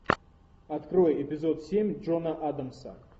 открой эпизод семь джона адамса